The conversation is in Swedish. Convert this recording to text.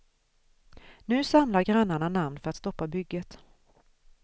Nu samlar grannarna namn för att stoppa bygget.